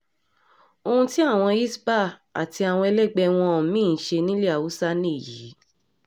ohun tí àwọn hisbah àti àwọn ẹlẹgbẹ́ wọn mí-ín ń ṣe nílẹ̀ haúsá nìyí